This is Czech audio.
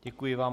Děkuji vám.